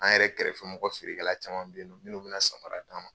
An yɛrɛ kɛrɛfɛmɔgɔ feerekwɛla caman bɛ yen minnu bɛna samara d'a ma.